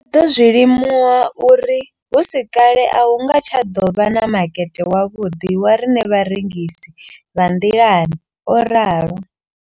Ndo ḓo zwi limuwa uri hu si kale a hu nga tsha ḓo vha na makete wavhuḓi wa riṋe vharengisi vha nḓilani, o ralo.